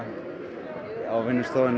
á vinnustofunni